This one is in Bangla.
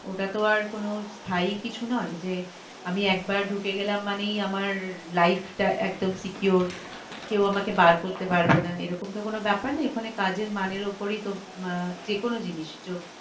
ওটা তো আর কোনো স্থায়ী কিছু নয় যে আমি একবার ঢুকে গেলাম মানেই আমার life টা একদম secure কেউ আমাকে বার করতে পারবেনা এরকম তো কোনো বেপার নয় ওখানে কাজের মানের ওপরই তো আহ যে কোনো জিনিস